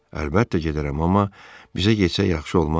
Əlbəttə gedərəm, amma bizə getsək yaxşı olmaz?